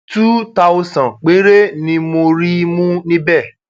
túù táọsán péré ni mo rí mú níbẹ